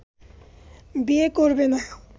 বিয়ে করবেনা